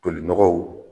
Tolinɔgɔw